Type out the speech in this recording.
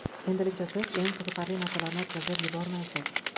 Endilikda siz eng qiziqarli narsalarni o‘tkazib yubormaysiz!